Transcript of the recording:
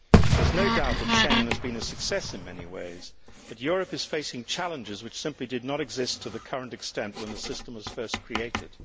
There is no doubt that Schengen has been a success in many ways, but Europe is facing challenges which simply did not exist to the current extent when the system was first created.